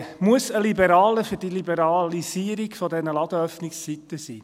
Muss ein Liberaler für die Liberalisierung der Ladenöffnungszeiten sein?